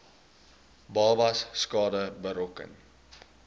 babas skade berokken